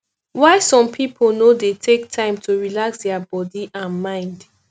why some pipo no dey take time to relax their bodi and mind